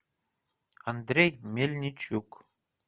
андрей мельничук